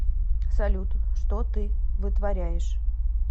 салют что ты вытворяешь